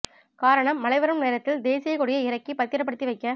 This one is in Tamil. காரணம் மழை வரும் நேரத்தில் தேசிய கொடியை இறக்கி பத்திரபடுத்தி வைக்க